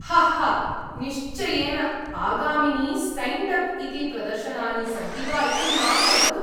हाहा निश्चयेन ! आगामीनि stand up इति प्रदर्शनानि सन्ति वा इति मां वदतु।